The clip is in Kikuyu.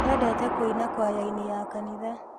Endete kũina kwayainĩ ya kanitha.